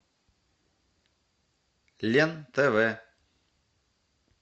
лен тв